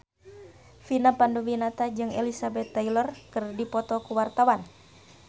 Vina Panduwinata jeung Elizabeth Taylor keur dipoto ku wartawan